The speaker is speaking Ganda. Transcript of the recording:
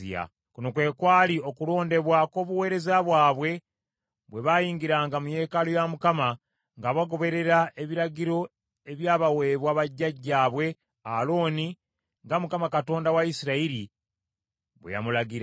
Kuno kwe kwali okulondebwa kw’obuweereza bwabwe, bwe baayingiranga mu yeekaalu ya Mukama , nga bagoberera ebiragiro ebyabaweebwa jjajjaabwe Alooni, nga Mukama Katonda wa Isirayiri bwe yamulagira.